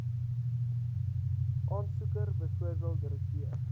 aansoeker bv direkteur